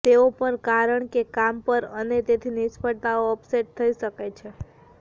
તેઓ પણ કારણ કે કામ પર અને તેથી નિષ્ફળતાઓ અપસેટ થઈ શકે છે